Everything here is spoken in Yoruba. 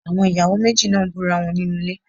Àwọn ìyàwó méjì náà ń búra wọn nínú ilé.